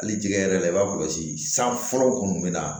Hali jɛgɛ yɛrɛ la i b'a kɔlɔsi san fɔlɔ kɔni min na